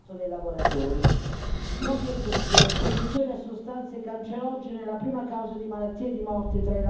Non vi è dubbio l'esposizione a sostanze cancerogene è la prima causa di malattia e di morte tra i lavoratori non protetti.